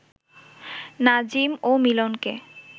নাজিম ও মিলনকে